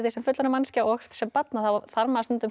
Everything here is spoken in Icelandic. sem fullorðin manneskja og sem barn að þá þarf maður stundum